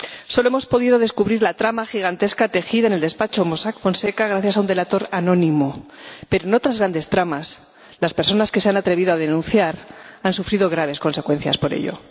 Solo hemos podido descubrir la trama gigantesca tejida en el despacho Mossack Fonseca gracias a un delator anónimo, pero en otras grandes tramas, las personas que se han atrevido a denunciar han sufrido graves consecuencias por ello.